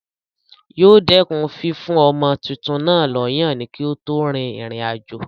Yóò dẹ̀kun fífún ọmọ tuntun náà lọ́yàn kí ó tó rin ìrìn àjò.